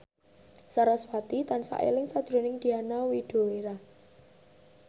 sarasvati tansah eling sakjroning Diana Widoera